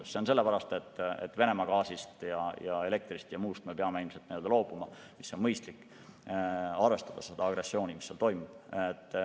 See on nii sellepärast, et Venemaa gaasist ja elektrist ja muust me peame ilmselt loobuma, kuna see on mõistlik, arvestades agressiooni, mis seal toimub.